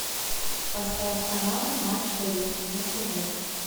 поставь канал матч боец на тв